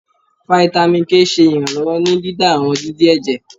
Fáítámì K ṣe iranlọwọ ní dídá àwọn dídì ẹjẹ